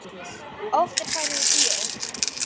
Oft er farið í bíó.